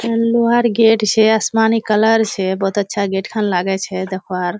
इठीकिन लोहार गेट छे आसमानी कलर छे बोहोत अच्छा लाग छे गेट खान देखवार।